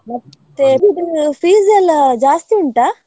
ಮತ್ತೆ PG ದು fees ಎಲ್ಲಾ ಜಾಸ್ತಿ ಉಂಟಾ?